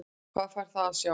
Hvað fær það að sjá?